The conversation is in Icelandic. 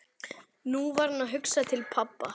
Nú var hún að hugsa til pabba.